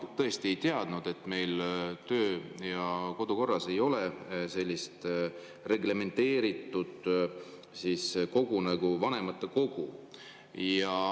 Ma tõesti ei teadnud, et meil töö‑ ja kodukorras ei ole sellist reglementeeritud kogu nagu vanematekogu.